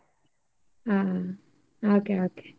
ಹಾ ಹಾಗೆ ಹಾಗೆ.